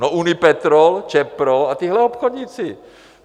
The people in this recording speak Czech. No Unipetrol, ČEPRO a tihle obchodníci.